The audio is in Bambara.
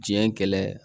Diɲɛ kɛlɛ